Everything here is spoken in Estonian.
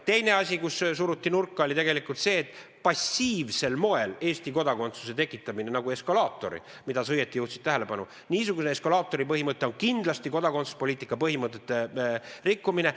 Teine asi, milles teid nurka suruti, oli tegelikult see, et passiivsel moel Eesti kodakondsuse tekitamine, niisugune eskalaatori põhimõte, on kindlasti kodakondsuspoliitika põhimõtete rikkumine.